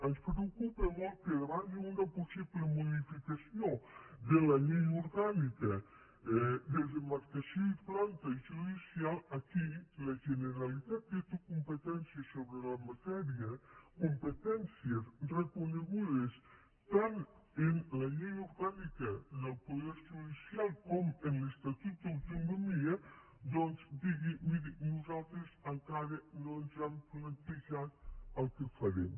ens preocupa molt que davant d’una possible modificació de la llei orgànica de demarcació i planta judicial aquí la generalitat que té competències sobre la matèria competències reconegudes tant en la llei orgànica del poder judicial com en l’estatut d’autonomia doncs digui miri nosaltres encara no ens hem plantejat el que farem